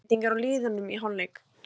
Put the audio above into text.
Engin breyting er á liðunum í hálfleik.